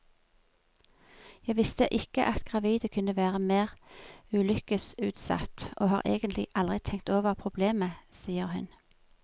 Jeg visste ikke at gravide kunne være mer ulykkesutsatt, og har egentlig aldri tenkt over problemet, sier hun.